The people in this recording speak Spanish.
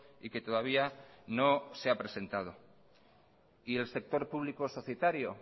y que todavía no se ha presentado y el sector público societario